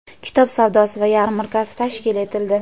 kitob savdosi va yarmarkasi tashkil etildi.